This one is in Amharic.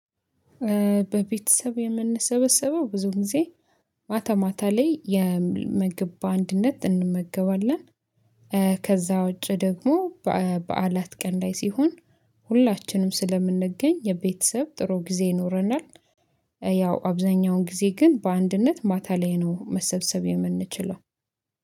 በቤተሰብ የምንሰበሰበው ብዙ ጊዜ ማታ ማታ ላይ ምግብ በአንድነት እንመገባለን። ከዛ ውጪ ደግሞ በዓላት ቀን ላይ ሲሆን ሁላችንም ስለምንገኝ የቤተሰብ ጥሩ ጊዜ ይኖረናል። ያው አብዛኛውን ጊዜ ግን በአንድነት ማታ ላይ ነው መሰብሰብ የምንችለው